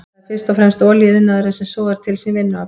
Það er fyrst og fremst olíuiðnaðurinn sem sogar til sín vinnuafl.